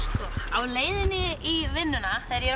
á leiðinni í vinnuna þegar ég